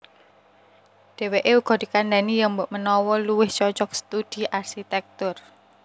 Dhèwèké uga dikandhani yèn mbokmenawa luwih cocog studi arsitèktur